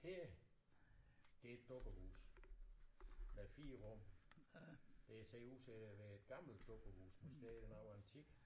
Her det et dukkehus der er 4 rum det ser ud til at være et gammelt dukkehus måske er det noget antikt